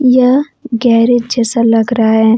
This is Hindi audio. यह गैरेज जैसा लग रहा है।